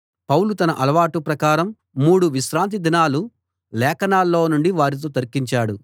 పౌలు తన అలవాటు ప్రకారం అలవాటు ప్రకారం మూడు విశ్రాంతి దినాలు లేఖనాల్లో నుండి వారితో తర్కించాడు